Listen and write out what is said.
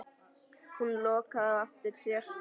Hún lokaði á eftir sér.